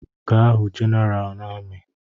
Gaa hụ General na amị!